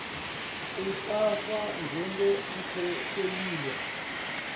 kutsatfwa njengemkhoseliswa